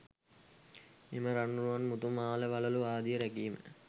එම රන් රුවන් මුතු මාල වළලූ ආදිය රැකීම